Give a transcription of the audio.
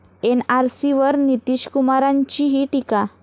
एनआरसीवर नितीशकुमारांचीही टीका